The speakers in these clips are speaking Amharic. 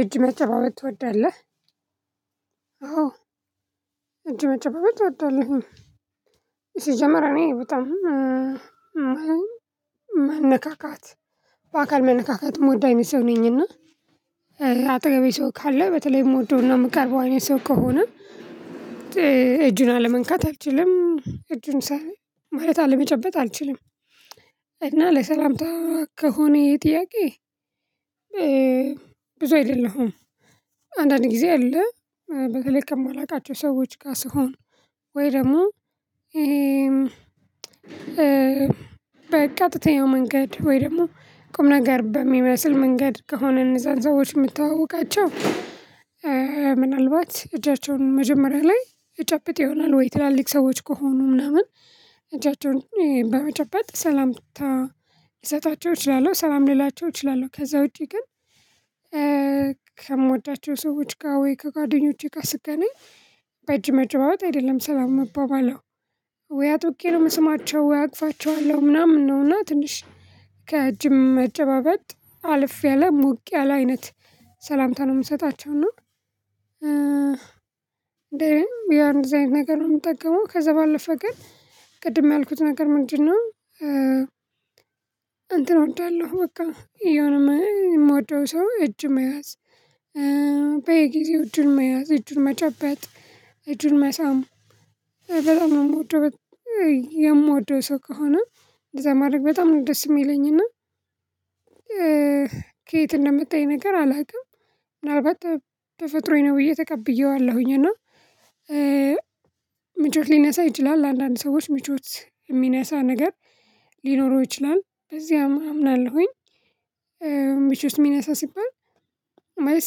እጅ መጨባበት ትወዳለህ? አው እጅ መጨባበት እወዳለሁኝ ሲጀመር እኔ በጣም መን መንካካት በአካል መነካካት የምወዳ ሰው ነኝና አጠገቤ ሰው ካለ በተለይ ምወደውና ምቀርበው አይነት ሰው ከሆነ እጁን አለመንካት አልችልም እጁን ማለት አለመጨበጥ አልችልም። እና ለሰላምታ ከሆነ የጥያቄ ብዙ አይደለሁም። አንዳንድ ጊዜ አለ በተለይ ከማላቃቸው ሰዎች ጋር ስሆን ወይ ደግሞ በቀጥተኛው መንገድ ወይ ደግሞ ቁም ነገር በሚመስል መንገድ ከሆነ እነዛን ሰዎች ምተዋወቃቸው ምናልባት እጃቸውን መጀመሪያ ላይ እጨብጥ ይሆናል ወይ ትላልቅ ሰዎች ከሆኑ ምናምን እጃቸውን በመጨበጥ ሰላምታ ልሰጣቸው እችላለሁ ሰላም ልላቸው እችላለሁ። ከዛ ውጪ ግን። ከምወዳቸው ሰዎች ጋር ወይ ከጓደኞቼ ጋር ስገናኝ በእጅ መጨባበት አይደለም ሰላም ምባባለው ወይ አጥብቄ ነው የምስማቸው ወይ አቅፋቸዋለሁ ምናምን ነውና። ትንሽ ከእጅም መጨባበጥ አልፌለሁ ሞቅ ያለ አይነት ሰላምታ ነው የምሰጣችሁ እና እንደውም ያን እንደዛ ነገር ነው የምጠቀመው። ከዛ ባለፈ ግን ቅድም ያልኩት ነገር ምንድን ነው? እንትን እወዳለሁ በቃ የሆነ የምወደው ሰው እጅ መያዝ። በየጊዜው እጁን መያዝ እጁን መጨበጥ እጁን መሳም በጣም የምወደው የምወደው ሰው ከሆነ እንደዛ ማድረግ በጣም ነው ደስ የሚለኝና። ከየት እንደመታ እሂ ነገር አላውቅም። ምናልባት ተፈጥሮዬ ነው ብዬ ተቀብየዋለሁኝ እና ምቾት ሊነሳ ይችላል ለአንዳንድ ሰዎች ምቾት የሚነሳ ነገር ሊኖረው ይችላል በዚህ አምናለሁኝ። ምቾት የሚነሳ ሲባል ማለት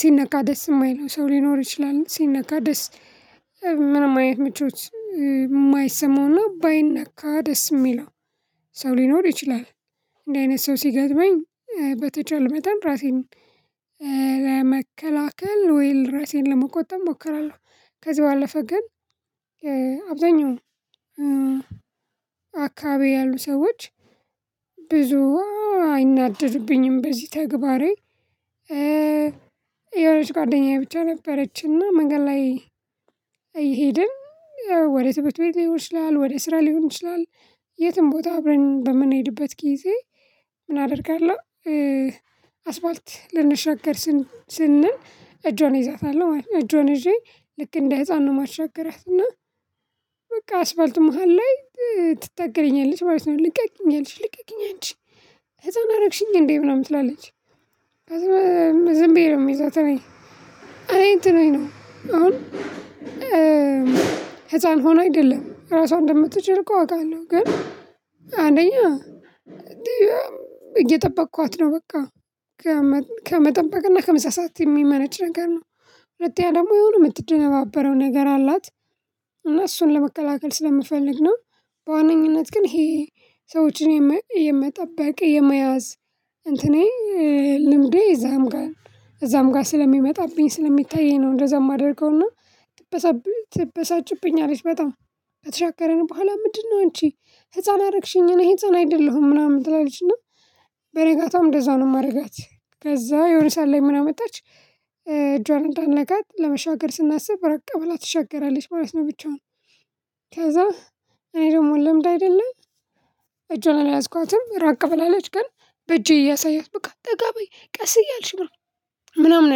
ሲነካ ደስ የማይለው ሰው ሊኖር ይችላል ሲነካ ደስ ምንም አይነት ምቾት ማይሰማውና ባይነካ ደስ የሚለው ሰው ሊኖር ይችላል። እንዲህ አይነት ሰው ሲገዝመኝ በተቻለ መጠን ራሴን ለመከላከል ወይ ለራሴን ለመቆጠብ እሞክራለሁ። ከዚህ ባለፈ ግን አብዛኛው አካባቢ ያሉ ሰዎች ብዙ አይናደዱብኝም። በዚህ ተግባሬ የሆነች ጓደኛዬ ብቻ ነበረችና መንገድ ላይ እየሄድን ወደ ትምህርት ቤት ሊሆን ይችላል ወደ ስራ ሊሆን ይችላል። የትም ቦታ አብረን በምንሄድበት ጊዜ ምን አደርጋለሁ? አስባልት ልንሻገር ስንል እጇን እይዛታለሁና እጇን ይዤ ልክ እንደ ህፃን ነው ማሻገራት እና በቃ አስፋልት መሃል ላይ ትታገለኛለች ማለት ነው። ልቀቅኝ አለች ልቀቅኝ አንች ህፃን አረግሽኝ እንዴ ምናምን ትላለች። ከዛ ዝም ብዬ ነው የምይዛት ነኝ። እኔ እንትን ነኝ አሁን ህፃን ሆኖ አይደለም ራሷን እንደምትችል እኮ አውቃለሁ። ግን አንደኛ እየጠበቅኳት ነው በቃ ከመጠበቅና ከመሳሳት የሚመነጭ ነገር ነው። ሁለት ያ ደግሞ የሆነ የምትደነባበረው ነገር አላት። እና እሱን ለመከላከል ስለምፈልግ ነው። በዋነኝነት ግን ይሄ ሰዎችን የመጠበቅ የመያዝ እንትኔ ልምዴ እዛም ጋር እዛም ጋር ስለሚመጣብኝ ስለሚታይ ነው። እንደዛ የማደርገው እና ትበሳ ትበሳጭብኝ አለች በጣም አትሻገርን በኋላ ምንድነው እንቺ ህፃን አደረግሽኝ እኔ ህፃን አይደለሁም ምናምን ትላለችና በገጋታውም እንደዛው ነው። የማደርጋት ከዛ የሆነ ሰዓት ላይ ምን አመጣች እጇን እንዳልነካት ለመሻገር ስናስብ ራቅ ብላ ትሻገራለች ማለት ነው። ብቻውን ከዛ እኔ ደግሞ ልምድ አይደለም አላዝኳትም ራቅ ብላለች ግን በእጄ እያሳይሆት በቃ ጠጋ በይ ቀስ እያልሽ ምናምን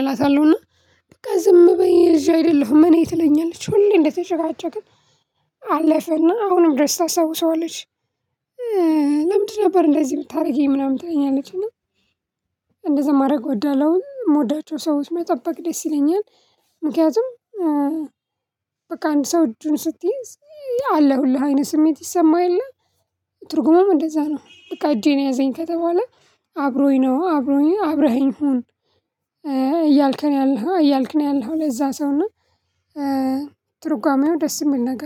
እላታለሁና። በቃ ዝም በይ ልጅ አይደለሁም እኔ ትለኛለች ሁሌ እንደተጨቃጨቅን አለፈና አሁንም ድረስ ታስታውሰዋለች። ለምንድን ነበር እንደዚህ የምታደርጊኝ ምናምን ትለኛለች። እና እንደዛ ማድረግ ወደለው የምወዳቸው ሰዎች መጠበቅ ደስ ይለኛል። ምክንያቱም በቃ አንድ ሰው እጁን ስትይዝ አለሁልህ አይነት ስሜት ይሰማህ የለ። ትርጉሙም እንደዛ ነው በቃ እጄን ያዘኝ ከተባለ አብሮኝ ነው አብሮኝ አብረኸኝ ሁን እያልከን ያለኸው እያልከን ያለኸው ለዛ ሰው ነው። ትርጓሜው ደስ የምል ነገር